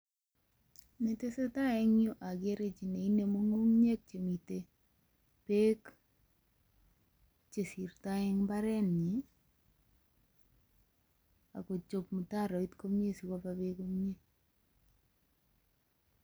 Netesetai en yu ogere chi ne inemu ng'ung'unyek chemiten beek che sirtoi en mbarenyin. Ak kochob mutaroit komye sikoba beek komye.